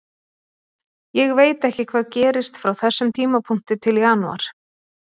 Ég veit ekki hvað gerist frá þessum tímapunkti til janúar.